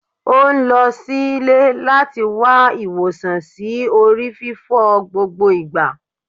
O n lọ sílé lati wa iwosan si ori fífọ́ gbogbo igba